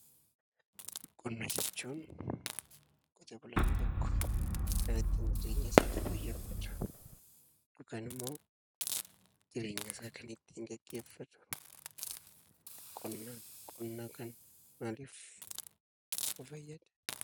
Qonna jechuun qotee bulaan tokko kan ittiin jireenya isaa fooyyeffachuuf yookaan immoo jireenya isaa kan ittiin gaggeeffatu qonnaani. Qonni maaliif nu fayyada?